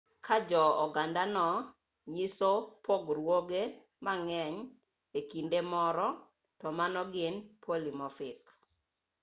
ka jo ogandano nyiso pogruoge mang'eny e kido moro to mano gin polimofik